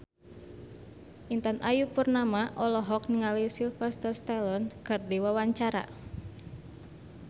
Intan Ayu Purnama olohok ningali Sylvester Stallone keur diwawancara